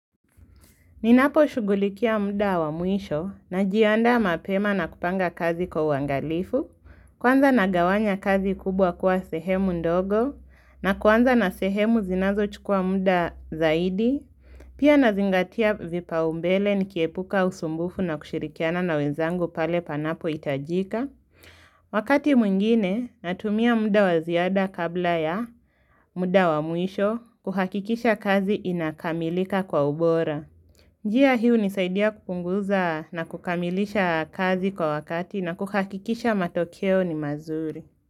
Ninaposhugulikia muda wa mwisho na jianda mapema na kupanga kazi kwa uangalifu. Kwanza nagawanya kazi kubwa kuwa sehemu ndogo na kwanza na sehemu zinazo chukua muda zaidi. Pia nazingatia vipau mbele nikiepuka usumbufu na kushirikiana na wenzangu pale panapo hitajika. Wakati mwingine natumia muda waziada kabla ya muda wa mwisho kuhakikisha kazi inakamilika kwa ubora. Njia hii hunisaidia kupunguza na kukamilisha kazi kwa wakati na kukakikisha matokeo ni mazuri.